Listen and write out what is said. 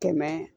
Kɛmɛ